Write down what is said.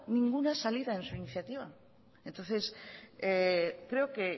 ninguna salida en su iniciativa entonces creo que